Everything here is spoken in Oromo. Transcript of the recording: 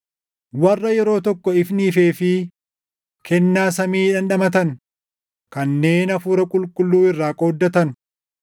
Warra yeroo tokko ifni ifeefii kennaa samii dhandhamatan, kanneen Hafuura Qulqulluu irraa qooddatan,